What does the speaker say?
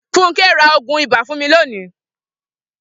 Funke ra oogun iba fun mi loni